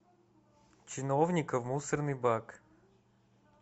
чиновника в мусорный бак